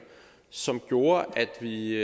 som gjorde at vi